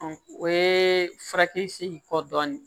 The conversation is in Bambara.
o ye furakisɛ in kɔ dɔɔnin